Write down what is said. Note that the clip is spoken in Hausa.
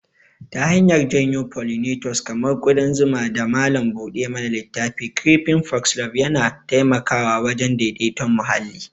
Ta hanyar janyo pollinators kamar ƙudan zuma da malam buɗe mana littafi, creeping foxglove yana taimakawa wajen daidaiton muhalli.